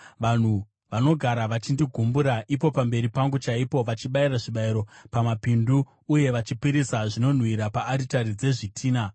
vanhu vanogara vachindigumbura ipo pamberi pangu chaipo, vachibayira zvibayiro pamapindu uye vachipisira zvinonhuhwira paaritari dzezvitinha;